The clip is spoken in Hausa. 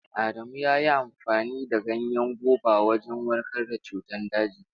Adamu ya yi amfani da ganyen goba wajen warkar da cutar daji.